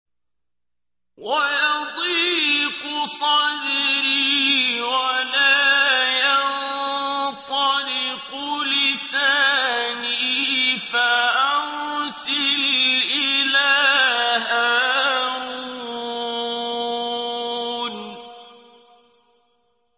وَيَضِيقُ صَدْرِي وَلَا يَنطَلِقُ لِسَانِي فَأَرْسِلْ إِلَىٰ هَارُونَ